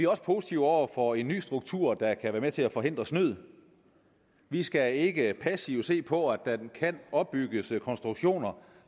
også positive over for en ny struktur der kan være med til at forhindre snyd vi skal ikke passivt se på at der kan opbygges konstruktioner